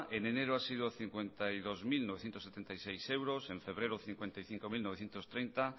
en enero ha sido cincuenta y dos mil novecientos setenta y seis euros en febrero cincuenta y cinco mil novecientos treinta